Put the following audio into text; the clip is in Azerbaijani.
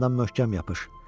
Sükandan möhkəm yapış.